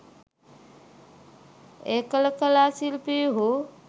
එකල කලා ශිල්පීහු